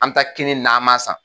An bɛ taa kini nama san.